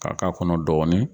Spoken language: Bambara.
K'a k'a kɔnɔ dɔɔni.